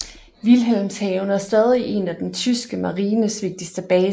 Wilhelmshaven er stadig en af den tyske marines vigtigste baser